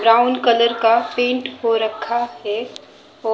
Brown colour का paint हो रखा है।